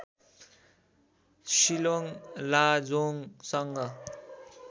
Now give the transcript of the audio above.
Shillong लाजोङसँग